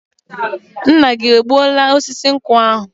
Nna gị egbuoola osisi nkwụ ahụ?